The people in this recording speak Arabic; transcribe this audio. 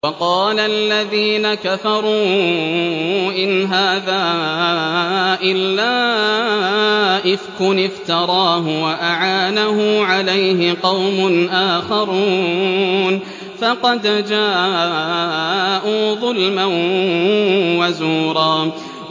وَقَالَ الَّذِينَ كَفَرُوا إِنْ هَٰذَا إِلَّا إِفْكٌ افْتَرَاهُ وَأَعَانَهُ عَلَيْهِ قَوْمٌ آخَرُونَ ۖ فَقَدْ جَاءُوا ظُلْمًا وَزُورًا